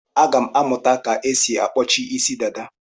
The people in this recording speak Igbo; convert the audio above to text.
Aga m amụta ka esi akpọchi Ịsị dada.